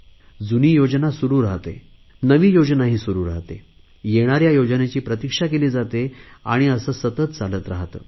जुनी योजना सुरु राहाते नवी योजनाही सुरु राहाते येणाऱ्या योजनेची प्रतिक्षा केली जाते आणि असे सतत चालत राहाते